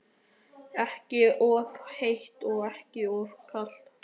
Ekki of heitt og ekki of kalt?